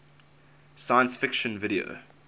science fiction video